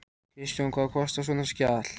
Kristján: Og hvað kostar svona skjal?